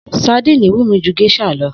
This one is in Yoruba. Sadíìnì wù mí ju gés̩à lo̩